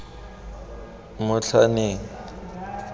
motlhaneng